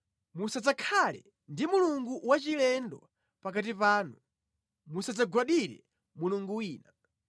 Musadzakhale ndi mulungu wachilendo pakati panu; musadzagwadire mulungu wina.